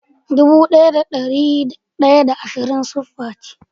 Dubu daya da dari da ashirin da hudu siffa ce.